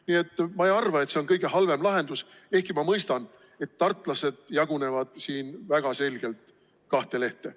Nii et ma ei arva, et see on kõige halvem lahendus, ehkki ma mõistan, et tartlased jagunevad siin väga selgelt kahte lehte.